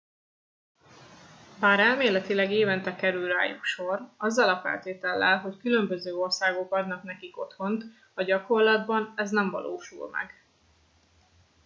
bár elméletileg évente kerül rájuk sor azzal a feltétellel hogy különböző országok adnak nekik otthont a gyakorlatban ez nem valósul meg